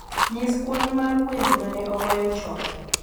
nyis kwan mar wende ma ne ogoye chon